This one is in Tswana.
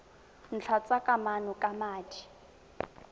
ntlha tsa kamano ka madi